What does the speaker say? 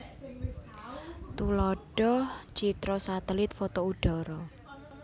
Tuladhah citra satelit foto udhara